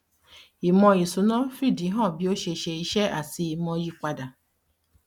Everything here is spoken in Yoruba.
ìmò ìsúná fìdí hàn bí ó ṣe ṣe iṣẹ́ àti ìmò yípadà.